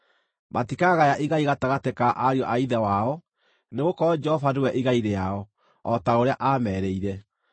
Matikagaya igai gatagatĩ ka ariũ a ithe wao; nĩgũkorwo Jehova nĩwe igai rĩao, o ta ũrĩa aamerĩire.